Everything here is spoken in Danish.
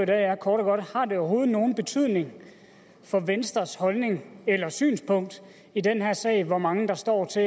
er kort og godt har det overhovedet nogen betydning for venstres holdning eller synspunkt i den her sag hvor mange der står til